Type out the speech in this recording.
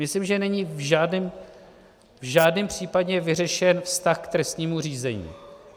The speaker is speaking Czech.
Myslím, že není v žádném případě vyřešen vztah k trestnímu řízení.